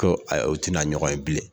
Ko ayi o tɛna ɲɔgɔn ye bilen.